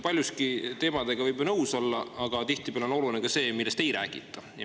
Paljuski võib ju nende teemadega nõus olla, aga tihtipeale on oluline ka see, millest ei räägita.